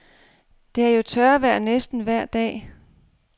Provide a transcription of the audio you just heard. Det er jo tørvejr næsten vejr dag.